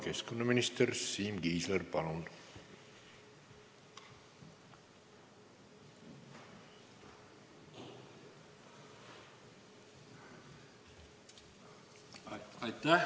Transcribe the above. Keskkonnaminister Siim Kiisler, palun!